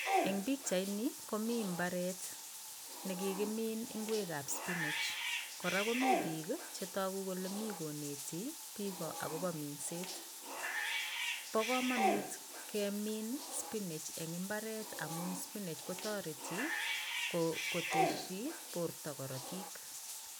Eng' pikchaini komi mbaret nekikimin ng'wekab spinach kora komi biik chetoku kole mi konetis biko akobo minset bo komonut kemin spinach eng' imbaret amu spinach kotoreti kotesi borto korotik